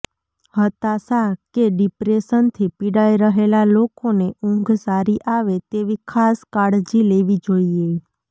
હતાશા કે ડિપ્રેશનથી પીડાઈ રહેલા લોકોને ઊંઘ સારી આવે તેની ખાસ કાળજી લેવી જોઈએ